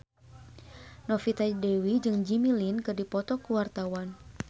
Novita Dewi jeung Jimmy Lin keur dipoto ku wartawan